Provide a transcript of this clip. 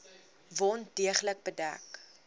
wond deeglik bedek